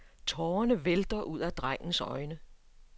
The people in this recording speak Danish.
Tårene vælter ud af drengens øjne.